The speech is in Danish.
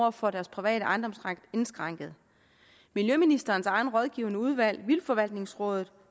at få deres private ejendomsret indskrænket miljøministerens eget rådgivende udvalg vildtforvaltningsrådet